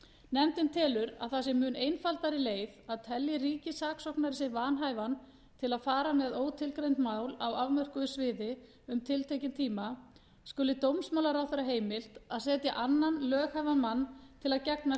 nefndin telur að það sé mun einfaldari leið að telji ríkissaksóknari sig vanhæfan til að fara með ótilgreind mál á afmörkuðu sviði um tiltekinn tíma skuli dómsmálaráðherra heimilt að setja annan löghæfan mann til að gegna